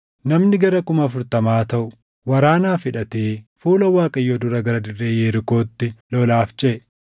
Namni gara kuma afurtamaa taʼu warraanaaf hidhatee fuula Waaqayyoo dura gara dirree Yerikootti lolaaf ceʼe.